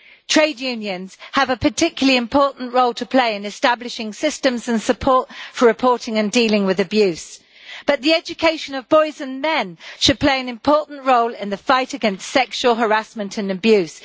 Trade unions have a particularly important role to play in establishing systems and support for reporting and dealing with abuse, but the education of boys and men should play an important role in the fight against sexual harassment and abuse.